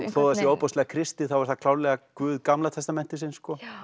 þó það sé ofboðslega kristið þá er það klárlega Guð Gamla testamentisins